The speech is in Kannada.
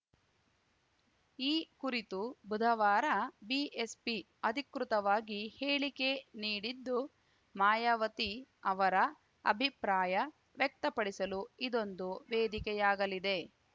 ಈ ಕುರಿತು ಬುಧವಾರ ಬಿಎಸ್‌ಪಿ ಅಧಿಕೃತವಾಗಿ ಹೇಳಿಕೆ ನೀಡಿದ್ದು ಮಾಯಾವತಿ ಅವರ ಅಭಿಪ್ರಾಯ ವ್ಯಕ್ತಪಡಿಸಲು ಇದೊಂದು ವೇದಿಕೆಯಾಗಲಿದೆ